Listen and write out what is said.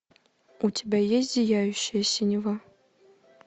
у тебя есть зияющая синева